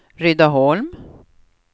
Rydaholm